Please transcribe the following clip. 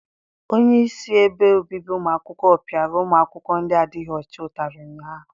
Onyeisi ebe obibi ụmụ akwụkwọ piara ụmụ akwụkwọ ndị adịghị ọcha ụtarị ụnyaahụ.